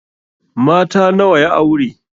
Mata nawa ya aure?